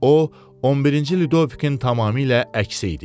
O 11-ci Ludovikin tamamilə əksi idi.